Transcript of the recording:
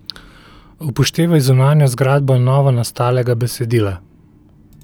Upoštevaj zunanjo zgradbo novonastalega besedila.